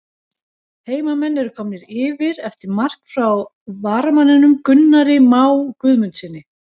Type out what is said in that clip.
HEIMAMENN ERU KOMNIR YFIR EFTIR MARK FRÁ VARAMANNINUM GUNNARI MÁ GUÐMUNDSSYNI!!